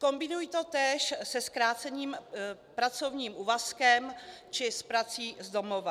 Kombinují to též se zkráceným pracovním úvazkem či s prací z domova.